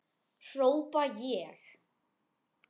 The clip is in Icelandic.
hrópa ég.